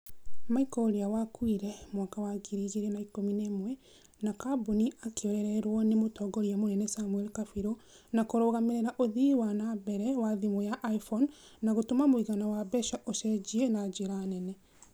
michael ũrĩa wakuire mwaka wa ngiri igĩrĩ na ikumi na ĩmwe na kambuni akĩorererwo nĩ mũtongoria munene samuel kabiru na kũrũgamirira ũthii wa na mbele wa thimũ ya iphone na gũtũma mũigana wa mbeca ũcenjie na njira nene